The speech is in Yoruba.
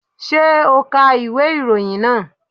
Ṣé o ka ìwé ìròyìn náà?